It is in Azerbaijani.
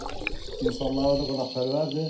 İnsanları da qonaqpərvərdir.